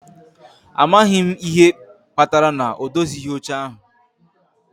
A maghị m ihe kpatara na ọ dozighị oche ahụ